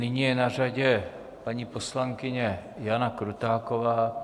Nyní je na řadě paní poslankyně Jana Krutáková.